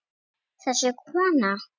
Þessi kona!